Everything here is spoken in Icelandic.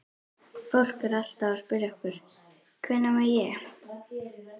Fólk er alltaf að spyrja okkur: Hvenær má ég?